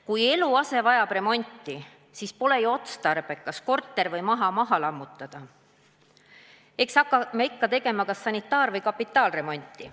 Kui eluase vajab remonti, siis pole ju otstarbekas korterit või maja maha lammutada, eks hakkame ikka tegema kas sanitaar- või kapitaalremonti.